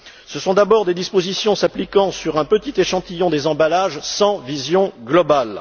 Ce sont d'abord des dispositions s'appliquant à un petit échantillon des emballages, sans vision globale.